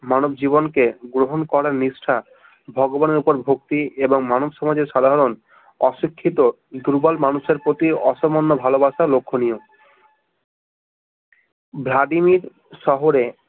মানবজীবন কে গ্রহন করার নিষ্ঠা ভগবানের উপর ভক্তি এবং মানবসমাজের সাধারণ অশিক্ষিত দুর্বল মানুষের প্রতি অসামান্য ভালবাসা লক্ষনীয় ভ্লাদিমির শহরে